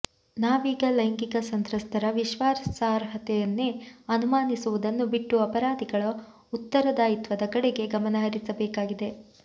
ನಾವೀಗ ಲೈಂಗಿಕ ಸಂತ್ರಸ್ತರ ವಿಶ್ವಾಸಾರ್ಹತೆಯನ್ನೇ ಅನುಮಾನಿಸುವುದನ್ನು ಬಿಟ್ಟು ಅಪರಾಧಿಗಳ ಉತ್ತರದಾಯಿತ್ವದ ಕಡೆಗೆ ಗಮನ ಹರಿಸಬೇಕಾಗಿದೆ